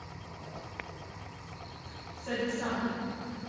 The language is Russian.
садисам